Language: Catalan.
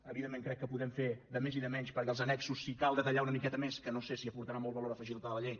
evidentment crec que podem fer de més i de menys perquè als annexos si cal detallar una miqueta més que no sé si aportarà molt valor afegit a la llei